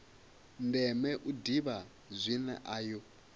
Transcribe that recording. ndeme u ḓivha zwine ayo